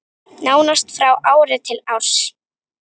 Nánast frá ári til árs.